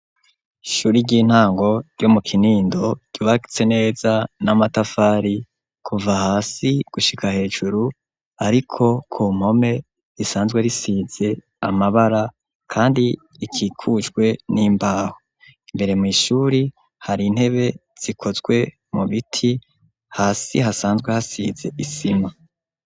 Ishuri ry'intango, ryo mu Kinindo, ryubatse neza, n'amatafari, kuva hasi, gushika hejuru; ariko ku mpome, risanzwe risize amabara, kandi ikikujwe n'imbaho; imbere mw'ishuri, hari intebe, zikozwe mu biti; hasi hasanzwe, hasize isima.